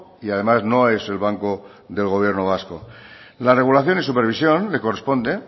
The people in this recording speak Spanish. y además no es el banco del gobierno vasco la regulación y supervisión le corresponde